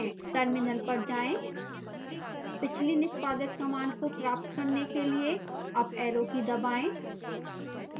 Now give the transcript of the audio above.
terminal पर जाएं पिछली निष्पादित कमांड को प्राप्त करने के लिए अप ऐरो की दबाएं